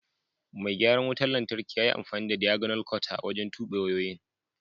Mai garan wutan lantarki ƴa ƴi amfani da "diagonal cutter" wajen tube wayoyin.